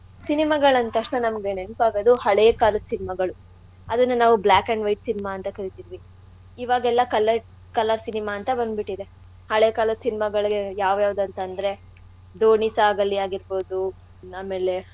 Cinema ಗಳ್ ಅಂದ್ತಕ್ಷಣ ನಮ್ಗೆ ನೆನ್ಪಾಗೋದು ಹಳೇ ಕಾಲದ್ cinema ಗಳು. ಅದನ್ನ ನಾವು black and white cinema ಅಂತ ಕರೀತೀವಿ. ಇವಾಗೆಲ್ಲಾ color~ colour cinema ಅಂತ ಬಂದ್ಬಿಟ್ಟಿದೆ. ಹಳೇ ಕಾಲದ್ cinema ಗಳ್ ಯಾವ್ ಯಾವ್ದಂತಂದ್ರೆ ದೋಣಿ ಸಾಗಲಿ ಆಗಿರ್ಬೋದು ಆಮೇಲೆ.